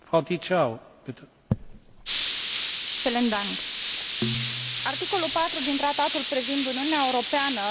Articolul 4 din Tratatul privind Uniunea Europeană menționează că Uniunea respectă egalitatea statelor membre în raport cu tratatele.